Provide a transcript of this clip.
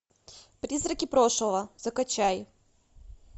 призраки прошлого закачай